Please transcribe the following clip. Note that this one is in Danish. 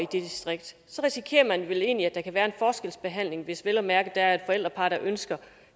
distrikt risikerer man vel egentlig at der kan være forskelsbehandling hvis vel at mærke der er et forældrepar der ønsker